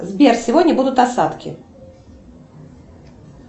сбер сегодня будут осадки